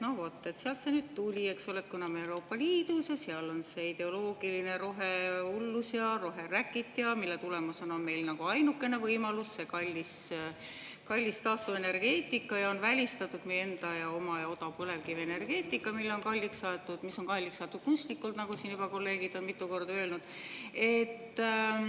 No vot, sealt see nüüd tuli, eksole, et kuna me oleme Euroopa Liidus ja seal on see ideoloogiline rohehullus ja rohe… ja mille tulemusena on meil nagu ainukene võimalus see kallis taastuvenergeetika ja on välistatud meie enda ja oma ja odav põlevkivienergeetika, mis on kalliks aetud kunstlikult, nagu siin juba kolleegid on mitu korda öelnud.